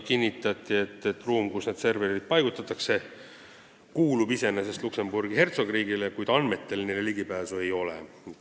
Kinnitati, et ruum, kuhu need serverid paigutatakse, kuulub iseenesest Luksemburgi Suurhertsogiriigile, kuid andmetele neil ligipääsu ei ole.